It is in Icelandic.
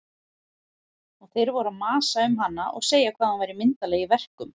Og þeir voru að masa um hana og segja hvað hún væri myndarleg í verkum.